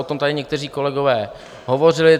O tom tady někteří kolegové hovořili.